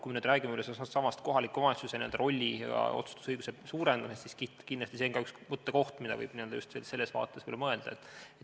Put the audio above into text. Kui rääkida nüüd sellestsamast kohaliku omavalitsuse rolli ja otsustusõiguse suurendamisest, siis kindlasti on see üks mõttekoht, mida võib just selles vaates edasi arendada.